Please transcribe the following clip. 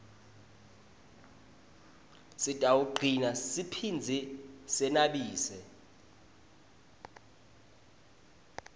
sitawugcina siphindze senabise